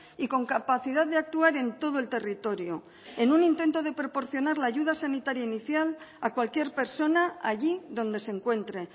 y con capacidad de actuar en todo el territorio en un intento de proporcionar la ayuda sanitaria inicial a cualquier persona allí donde se encuentre